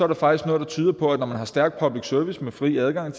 der faktisk noget der tyder på at når man har en stærk public service med fri adgang